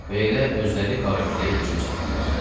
Belə özləri qara güliyə hücum çəkdilər.